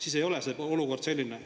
Siis ei ole see olukord selline.